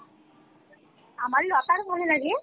আমার লতার ভালো লাগে